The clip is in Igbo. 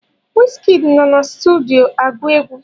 Wizikid nọ na sutudio agụ egwu